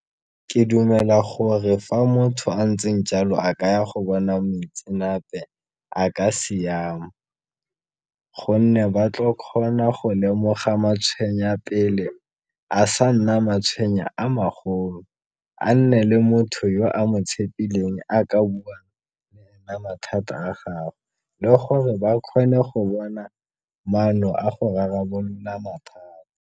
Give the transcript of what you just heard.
Ke dumela gore fa motho a ntseng jalo a kaya go bona moitsenape a ka siama, gonne ba tlo kgona go lemoga matshwenya pele a sa nna matshwenya a magolo. A nne le motho yo a mo tshepileng a ka buang mathata a gagwe le gore ba kgone go bona maano a go rarabolola mathata.